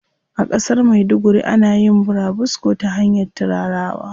A ƙasar maiduguri ana yin burabusko ta hanyar turarawa.